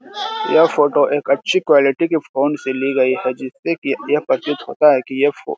यह फोटो एक अच्छी क्वालिटी के फोन से ली गई हैं जिससे की यह प्रतीत होता है की ये फो --